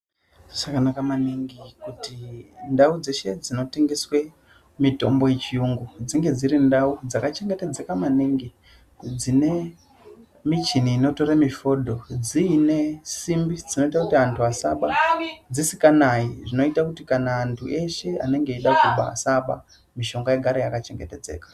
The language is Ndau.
Zvakanaka maningi kuti ndau dzeshe dzinotengeswe mitombo yechiyungu dzinge dzirindau dzakachengetedzeka maningi, dzine michini inotore mifodo dziinesimbi dzinoite kuti antu asaba, dzisikanayi, zvinoite kuti kana anhu eshe anenge eida kuba asaba, mishonga igare yaka chengetedzeka.